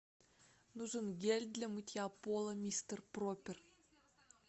нужен гель для мытья пола мистер пропер